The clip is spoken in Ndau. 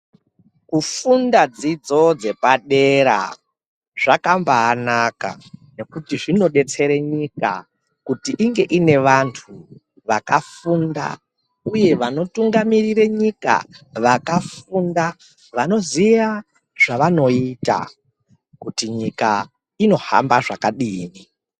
Kufunda dzidzo dzepadera zvakambanaka nekuti zvinodetsere nyika kuti inge ine vantu uye vanotungamirire nyika vakafunda vanoziya zvavanoita kuti nyika inohamba zvakadini.